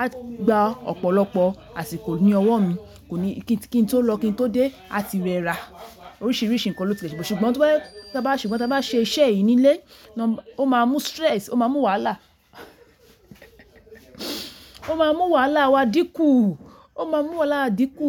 a gba ọ̀pọ̀lọpọ̀ àsìkò ní ọwọ́ mi, kí n tó lọ, kí n tó dé, àti rẹ rà oríṣiríṣi nǹkan lo sì le ṣe. Ṣùgbọ́n tí a bá ṣe iṣẹ́ yìí ní ilé, ó máa mú stress, ó máa mú wàhálà, ó máa mú wàhálà wa dínkù, ó máa mú wàhálà wa dínkù.